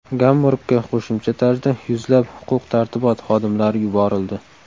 Gamburgga qo‘shimcha tarzda yuzlab huquq-tartibot xodimlari yuborildi.